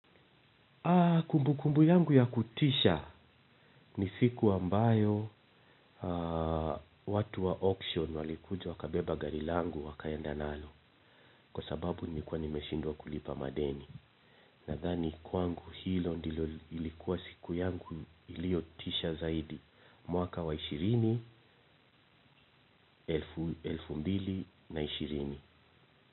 Kumbukumbu yangu ya kutisha ni siku ambayo watu wa auction walikuja wakabeba gari langu wakaenda nalo kwa sababu nilikua nimeshindwa kulipa madeni. Nadhani kwangu hilo ndilo ilikuwa siku yangu iliotisha zaidi. Mwaka wa ishirini, elfu mbili na ishirini.